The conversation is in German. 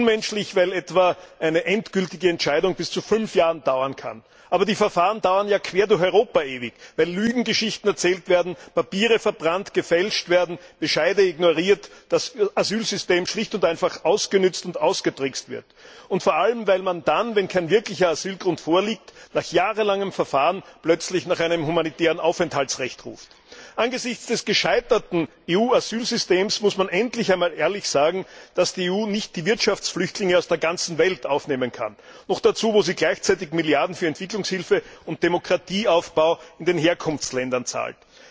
Unmenschlich, weil etwa eine endgültige Entscheidung bis zu fünf Jahre dauern kann. Aber die Verfahren dauern ja quer durch Europa ewig, weil Lügengeschichten erzählt werden, Papiere verbrannt oder gefälscht werden, Bescheide ignoriert werden, das Asylsystem schlicht und einfach ausgenützt und ausgetrickst wird. Vor allem weil man dann, wenn kein wirklicher Asylgrund vorliegt, nach jahrelangem Verfahren plötzlich nach einem humanitären Aufenthaltsrecht ruft. Angesichts des gescheiterten EU Asylsystems muss man endlich einmal ehrlich sagen, dass die EU nicht die Wirtschaftsflüchtlinge aus der ganzen Welt aufnehmen kann. Noch dazu, wo sie gleichzeitig Milliarden für Entwicklungshilfe und Demokratieaufbau in den Herkunftsländern zahlt.